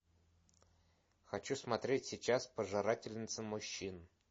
хочу смотреть сейчас пожирательница мужчин